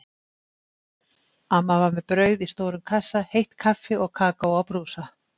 Amma var með brauð í stórum kassa, heitt kaffi og kakó á brúsa.